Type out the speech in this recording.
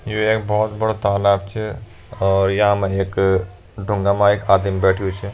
ये एक बहौत बड़ा तालब च और यामा एक ढुंगा मा एक आदिम बैठ्युं च।